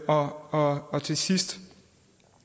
og til sidst